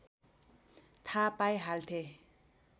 थाहा पाइहाल्थे